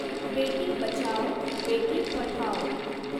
बेटी बचाओ बेटी पढाओ